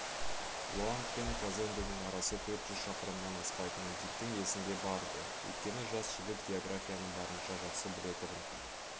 лоанд пен казонденің арасы төрт жүз шақырымнан аспайтыны диктің есінде бар-ды өйткені жас жігіт географияны барынша жақсы білетұғын